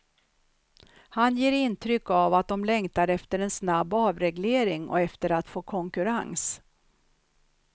Han ger intryck av att de längtar efter en snabb avreglering och efter att få konkurrens.